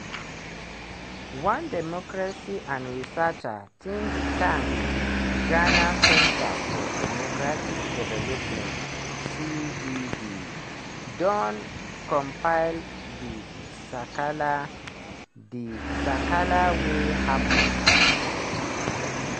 one democracy and researcher think tank -ghana center for democratic development (cdd) don compile di sakala di sakala wey happun for dis election.